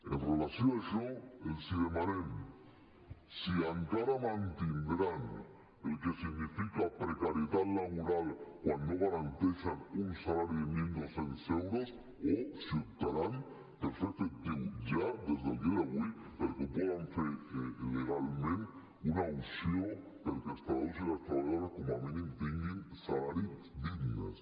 amb relació a això els hi demanem si encara mantindran el que significa precarietat laboral quan no garanteixen un salari de mil dos cents euros o si optaran per fer efectiu ja des del dia d’avui perquè ho poden fer legalment una opció perquè els treballadors i les treballadores com a mínim tinguin salaris dignes